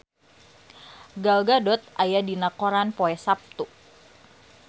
Gal Gadot aya dina koran poe Saptu